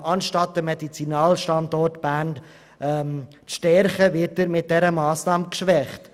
Anstatt den Medizinalstandort Bern zu stärken, wird er mit dieser Massnahme geschwächt.